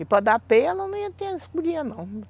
E para dar peia, ela não ia ter não.